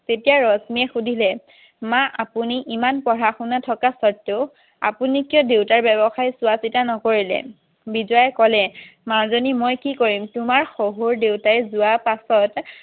তেতিয়া ৰশ্মিয়ে সুধিলে মা আপুনি ইমান পঢ়া শুনা থকা সত্ত্বেও আপুনি কিয় দেউতাৰ ব্যবসায় চোৱা চিতা নকৰিলে বিজয়াই ক'লে মাজনী মই কি কৰিম তোমাৰ শহুৰ দেউতাই যোৱাৰ পাছত